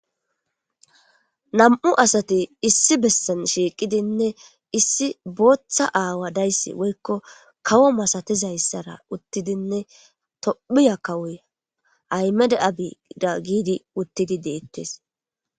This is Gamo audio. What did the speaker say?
nam7u asati issi bessan shiiqidinne issi booththa aawa dayssi woykko kawo masatizayssara uttidinne tophiya kawuya aymede abida giidi uttidi deettes